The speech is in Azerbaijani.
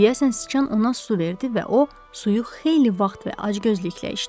Deyəsən siçan ona su verdi və o suyu xeyli vaxt və acgözlüklə içdi.